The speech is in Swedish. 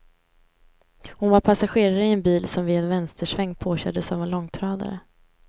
Hon var passagerare i en bil som vid en vänstersväng påkördes av en långtradare.